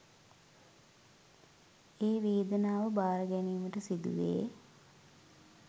ඒ වේදනාව භාර ගැනීමට සිදුවේ